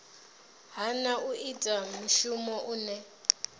hana u ita mushumo une